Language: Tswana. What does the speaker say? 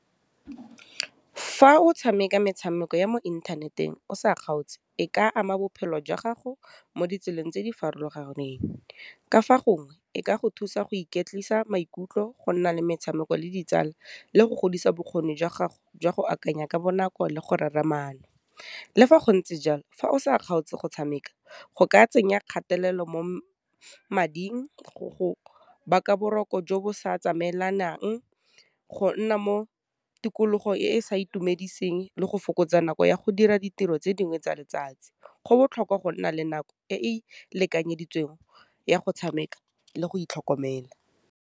Fa o tshameka metshameko ya mo inthaneteng o sa kgaotse, e ka ama bophelo jwa gago mo ditseleng tse di farologaneng ka fa gongwe e ka go thusa go iketlisa maikutlo go nna le metshameko le ditsala le go godisa bokgoni jwa gago jwa go akanya ka bonako le go rera maano, le fa go ntse jalo fa o sa kgaotse go tshameka go ka tsenya kgatelelo mo mading, go baka boroko jo bo sa tsamaelanang, go nna mo tikologo e e sa itumediseng, le go fokotsa nako ya go dira ditiro tse dingwe tsa letsatsi. Go botlhokwa go nna le nako e e lekanyeditsweng ya go tshameka le go itlhokomela.